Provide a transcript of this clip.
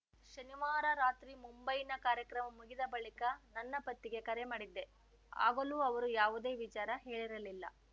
ಶನಿವಾರ ರಾತ್ರಿ ಮುಂಬೈನ ಕಾರ್ಯಕ್ರಮ ಮುಗಿದ ಬಳಿಕ ನನ್ನ ಪತಿಗೆ ಕರೆ ಮಾಡಿದ್ದೆ ಆಗಲೂ ಅವರು ಯಾವುದೇ ವಿಚಾರ ಹೇಳಿರಲಿಲ್ಲ